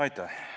Aitäh!